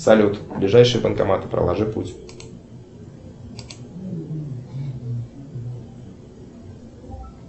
салют ближайший банкомат проложи путь